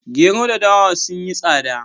Gero da dawa sun yi tsada